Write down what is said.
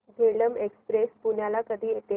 Jhelum express पुण्याला कधी येते